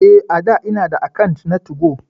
Eh a'dà ina da akant na 2go.